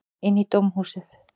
Inn í dómhúsið.